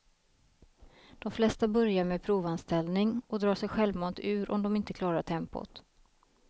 De flesta börjar med provanställning och drar sig självmant ur om de inte klarar tempot.